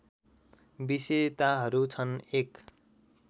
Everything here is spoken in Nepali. विशेताहरू छन् १